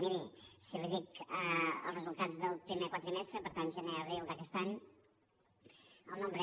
miri si li dic els resultats del primer quadrimestre per tant gener abril d’aquest any el nombre